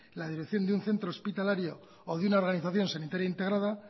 la dirección de un centro hospitalario o de una organización sanitaria integrada